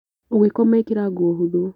ũgĩkoma ĩkĩra nguo hũthũ